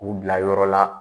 K'u bila yɔrɔ la